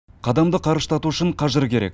қадамды қарыштату үшін қажыр керек